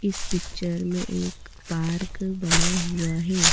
इस पिक्चर में एक पार्क बना हुआ हैं।